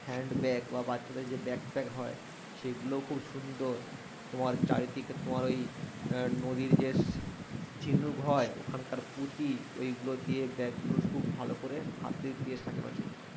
hand bag বা বাচ্চাদের যে ব্যাকপ্যাক হয় সেগুলো খুব সুন্দর তোমার চারিদিকে তোমার ওই নদীর যে ঝিনুক হয় এখনকার পুতি ওইগুলো দিয়ে ব্যাগ গুলো খুব ভালো করে হাতে দিয়ে সাজানো ছিল